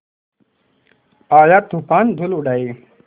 आया तूफ़ान धूल उड़ाए